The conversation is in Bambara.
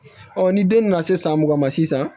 ni den nana se san mugan ma sisan